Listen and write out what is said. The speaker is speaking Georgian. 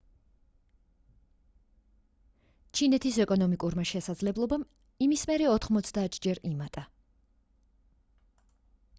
ჩინეთის ეკონომიკურმა შესაძლებლობამ იმის მერე 90-ჯერ იმატა